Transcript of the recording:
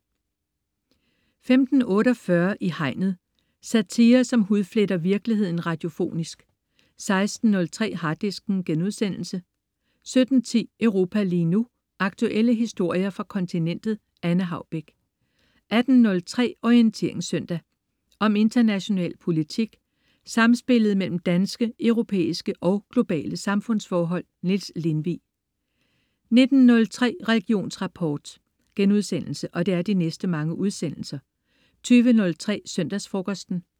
15.48 I Hegnet. Satire, som hudfletter virkeligheden radiofonisk 16.03 Harddisken* 17.10 Europa lige nu. Aktuelle historier fra kontinentet. Anne Haubek 18.03 Orientering søndag. Om international politik, samspillet mellem danske, europæiske og globale samfundsforhold. Niels Lindvig 19.03 Religionsrapport* 20.03 Søndagsfrokosten*